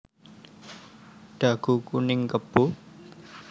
Dagu kuning kebo